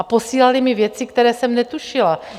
A posílali mi věci, které jsem netušila.